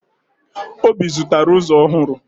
Obi zụtara ụzọ ọhụrụ